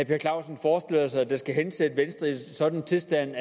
per clausen forestiller sig der skal hensætte venstre i en sådan tilstand